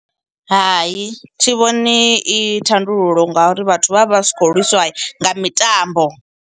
Hai thi vhoni i thandululo ngauri vhathu vha vha vha si khou lwisiwa nga mitambo.